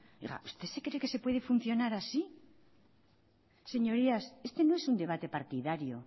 oiga usted se cree que se puede funcionar así señorías este no es un debate partidario